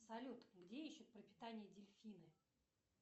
салют где ищут пропитание дельфины